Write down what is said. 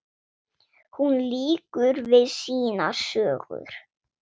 Hún lýkur við sínar sögur.